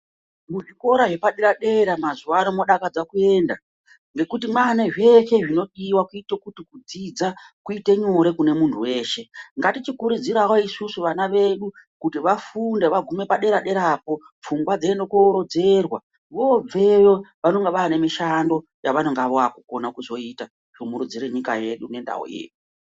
Kuzvikora zvepadera dera mazuwa ano kodakadza kukuendanekuti mane zveshe zvinodiwa kuita kuti kudzidza kuite nyore kune mundu weshe ngatichi kuridzirawo isusu vana vedu kuti vofunde vagume padera derapo pfungwa dziende kunorodzerwa vobvayo vanenge vanemushando yavanenge vakuzokona kuita kumuridzira nyika yedu nendau yedu.